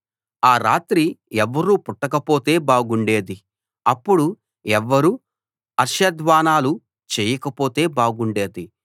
ఆ రాత్రి ఎవ్వరూ పుట్టకపోతే బాగుండేది అప్పుడు ఎవ్వరూ హర్ష ధ్వానాలు చెయ్యకపోతే బాగుండేది